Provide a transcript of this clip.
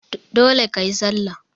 Dole kayi sallah!